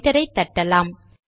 என்டரை தட்டலாம்